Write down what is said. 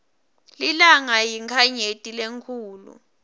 lilanga yinkhanyeti lenkhulu